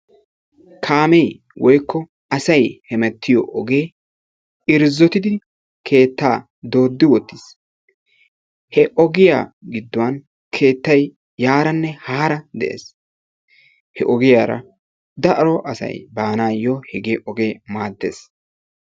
Kaame woykko asay hemeetiyo ogee irzzotidi keetta doodi wottis. He ogiya giduwan keettay yaarane hara de'ees. He ogiyara daro asay banayo hege ogee maadees.